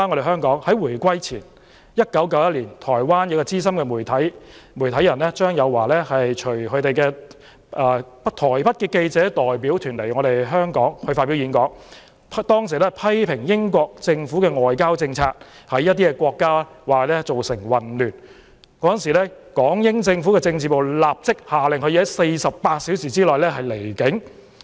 香港回歸前的1991年，台灣資深媒體人張友驊隨台北記者代表團來香港發表演講，批評英國政府的外交政策在一些國家造成混亂，港英政府政治部立即限令他在48小時內離境。